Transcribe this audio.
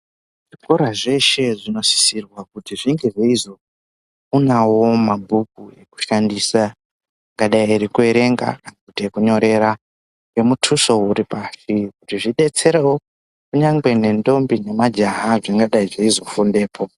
Zvikora zveshe zvinosisirwa Kuti zvinge zveizoonawo mabhuku ekushandisa akadai ekuerenga kwete ekunyorera ngemutuso uripashi kuti zvidetserewo kunyangwe nendombi nemajaha zvingadai zveizofundepo.